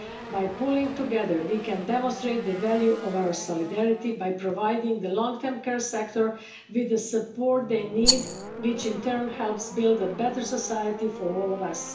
By pulling together, we can demonstrate the value of our solidarity by providing the long term care sector with the support they need, which in turn helps build a better society for all of us.